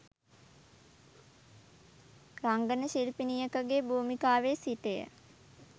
රංගන ශිල්පිණියකගේ භුමිකාවේ සිටය.